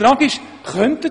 Die Frage ist aber: